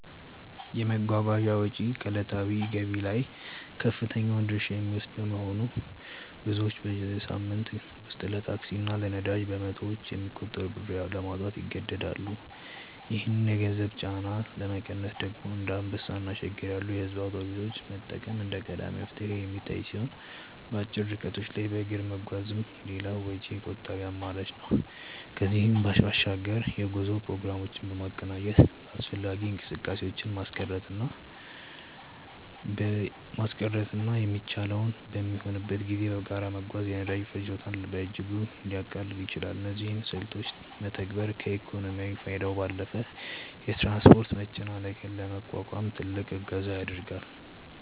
የመጓጓዣ ወጪ ከዕለታዊ ገቢ ላይ ከፍተኛውን ድርሻ የሚወስድ በመሆኑ፣ ብዙዎች በሳምንት ውስጥ ለታክሲ እና ለነዳጅ በመቶዎች የሚቆጠር ብር ለማውጣት ይገደዳሉ። ይህንን የገንዘብ ጫና ለመቀነስ ደግሞ እንደ አንበሳ እና ሸገር ያሉ የሕዝብ አውቶቡሶችን መጠቀም እንደ ቀዳሚ መፍትሄ የሚታይ ሲሆን፣ በአጭር ርቀቶች ላይ በእግር መጓዝም ሌላው ወጪ ቆጣቢ አማራጭ ነው። ከዚህም በባሻግር የጉዞ ፕሮግራሞችን በማቀናጀት አላስፈላጊ እንቅስቃሴዎችን ማስቀረትና የሚቻለው በሚሆንበት ጊዜ በጋራ መጓዝ የነዳጅ ፍጆታን በእጅጉ ሊያቃልል ይችላል። እነዚህን ስልቶች መተግበር ከኢኮኖሚያዊ ፋይዳው ባለፈ የትራንስፖርት መጨናነቅን ለመቋቋም ትልቅ እገዛ ያደርጋል።